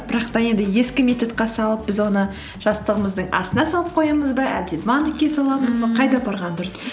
бірақ та енді ескі методқа салып біз оны жастығымыздың астына салып қоямыз ба әлде банкке саламыз ба қайда апарған дұрыс